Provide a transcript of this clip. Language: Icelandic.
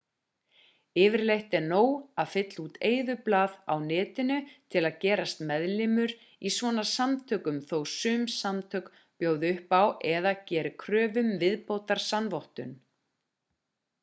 yfirleitt er nóg að fylla út eyðublað á netinu til að gerast meðlimur í svona samtökum þó sum samtök bjóði upp á eða geri kröfu um viðbótarsannvottun